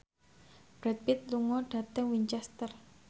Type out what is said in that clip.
Brad Pitt lunga dhateng Winchester